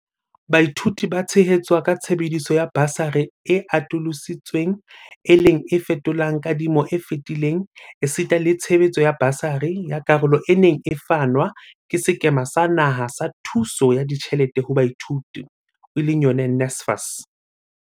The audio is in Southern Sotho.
Baithuti ba tshehetswa ka tshebediso ya basari e atolosi tsweng e leng e fetolang kadi mo e fetileng esita le tshebetso ya basari ya karolo e neng e fanwa ke Sekema sa Naha sa Thuso ya Ditjhelete ho Baithuti, NSFAS.